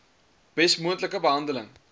bes moontlike behandeling